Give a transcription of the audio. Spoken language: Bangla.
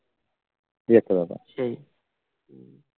এই একটা ব্যাপার